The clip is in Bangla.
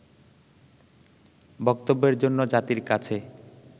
বক্তব্যের জন্য জাতির কাছে